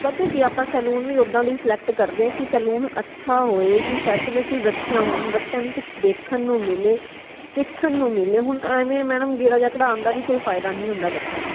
ਪਤਾ ਹੈ ਕਿ ਆਪਾ saloon ਵੀ ਓਦਾਂ ਦਾ ਹੀ select ਕਰਦੇ ਹਾਂ ਕਿ saloon ਅੱਛਾ ਹੋਏ ਕਿ facilities ਅੱਛੀਆਂ ਹੋਣ ਬੱਚਿਆਂ ਨੂ ਕੁਝ ਦੇਖਣ ਨੂ ਮਿਲੇ ਸਿੱਖਣ ਨੂ ਮਿਲੇ ਹੁਣ ਐਵੇ Madam ਗੇੜਾ ਜੇਹਾ ਕਟਾਨ ਦਾ ਵੀ ਕੋਈ ਫਾਇਦਾ ਨਈ ਹੁੰਦਾ ਬੱਚਿਆਂ ਨੂ